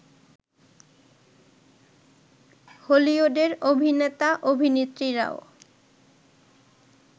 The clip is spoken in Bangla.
হলিউডের অভিনেতা-অভিনেত্রীরাও